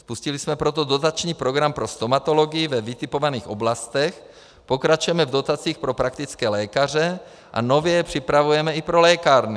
Spustili jsme proto dotační program pro stomatology ve vytipovaných oblastech, pokračujeme v dotacích pro praktické lékaře a nově je připravujeme i pro lékárny.